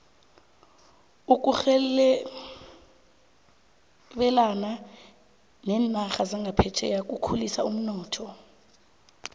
ukurhebelana nerarha zaphetjheya kukhulisa umnotho